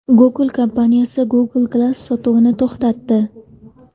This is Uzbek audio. Google kompaniyasi Google Glass sotuvini to‘xtatdi.